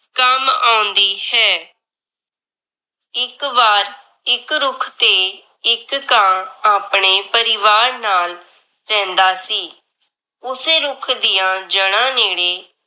ਕੰਮ ਆਉਂਦੀ ਹੈ। ਇੱਕ ਵਾਰ ਇੱਕ ਰੁੱਖ ਤੇ ਇੱਕ ਕਾਂ ਆਪਣੇ ਪਰਿਵਾਰ ਨਾਲ ਰਹਿੰਦਾ ਸੀ। ਉਸੇ ਰੁੱਖ ਦੀਆਂ ਜੜ੍ਹਾ ਨੇੜੇ